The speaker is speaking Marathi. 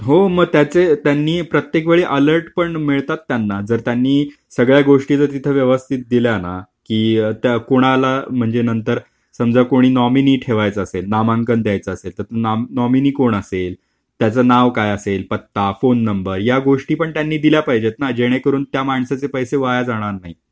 हो मग त्याचे त्यांनी प्रत्येक वेळी अलर्ट पण मिळतात त्यांना जर त्यांनी सगळ्या गोष्टी जर तिथे व्यवस्थित दिल्या ना की त्या कोणाला म्हणजे नंतर समजा कोणी नॉमिनी ठेवायचा असेल नामांकन द्यायचं असेल तर नॉमिनी कोण असेल, त्याचं नाव काय असेल, पत्ता, फोन नंबर या गोष्टी पण त्यांनी दिल्या पाहिजेत ना जेणेकरून त्या माणसाचे पैसे वाया जाणार नाही.